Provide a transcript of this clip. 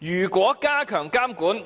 如果加強監管，